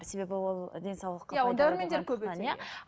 себебі ол денсаулыққа